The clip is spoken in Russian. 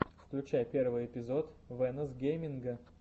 включай первый эпизод вэнос гейминга